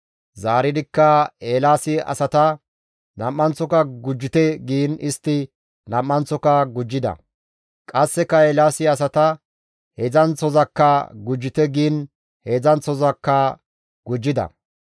Zaaridikka Eelaasi asay, «Nam7anththoka gujjite» giin istti nam7anththoka gujjida. Qasseka Eelaasi asata, «Heedzdzanththozakka gujjite» giin heedzdzanththoka gujjida.